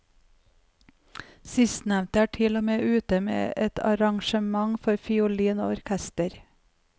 Sistnevnte er til og med ute med et arrangement for fiolin og orkester.